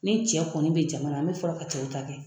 Ni cɛ kɔni bɛ jama na an bɛ fɔlɔ ka cɛw ta kɛ